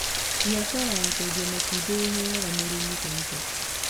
Biashara ya kwendia matumbĩ ĩheaga mũrĩmi baida